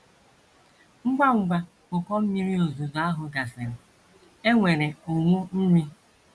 Ngwa ngwa ụkọ mmiri ozuzo ahụ gasịrị, e nwere ụnwụ nri.